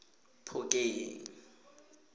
phokeng